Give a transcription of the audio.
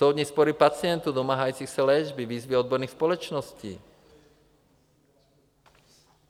Soudní spory pacientů domáhajících se léčby, výzvy odborných společností.